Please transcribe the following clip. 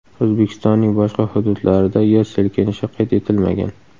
O‘zbekistonning boshqa hududlarida yer silkinishi qayd etilmagan.